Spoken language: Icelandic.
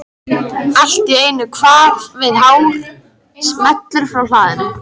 Allt í einu kvað við hár smellur frá hlaðinu.